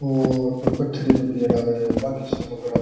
और पथरी वगरा वे होव वा की सोना ग्राफी --